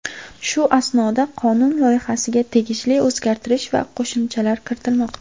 Shu asnoda qonun loyihasiga tegishli o‘zgartirish va qo‘shimchalar kiritilmoqda.